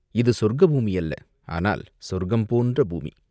"இது சொர்க்க பூமி அல்ல, ஆனால் சொர்க்கம் போன்ற பூமி.